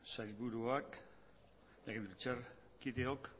sailburuak legebiltzarkideok